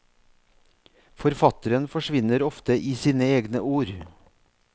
Forfatteren forsvinner ofte i sine egne ord.